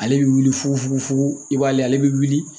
Ale bɛ wuli fufu i b'ale ale bɛ wuli